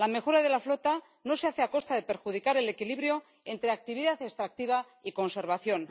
La mejora de la flota no se hace a costa de perjudicar el equilibrio entre actividad extractiva y conservación.